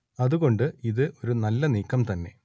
അത് കൊണ്ട് ഇത് ഒരു നല്ല നീക്കം തന്നെ